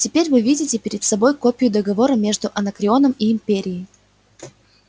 теперь вы видите перед собой копию договора между анакреоном и империей